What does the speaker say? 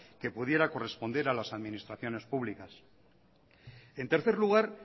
que pudiera corresponder a las administraciones públicas en tercer lugar